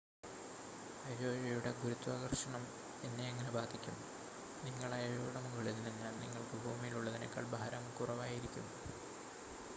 അയോയുടെ ഗുരുത്വാകർഷണം എന്നെ എങ്ങനെ ബാധിക്കും നിങ്ങൾ അയോയുടെ മുകളിൽ നിന്നാൽ നിങ്ങൾക്ക് ഭൂമിയിൽ ഉള്ളതിനേക്കാൾ ഭാരം കുറവായിരിക്കും